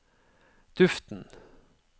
duften